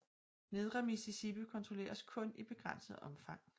Nedre Mississippi kontrolleres kun i begrænset omfang